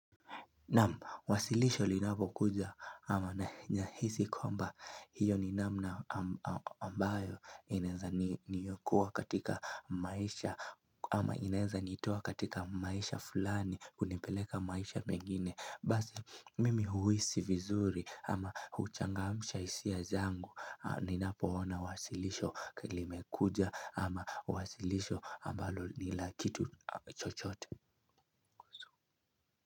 Nam, wasilisho linapo kuja ama na hizi kwamba hiyo ni namna ambayo inenza niyokoa katika maisha ama inenza nitua katika maisha fulani kunepeleka maisha mengine Basi mimi huisi vizuri ama huchangamusha sia zangu ni napo ona wasilisho kilimekuja ama wasilisho ambalo nilakitu chochote.